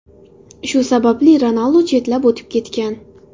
Shu sababli Ronaldu chetlab o‘tib ketgan.